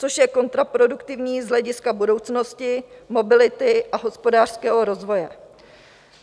Což je kontraproduktivní z hlediska budoucnosti mobility a hospodářského rozvoje.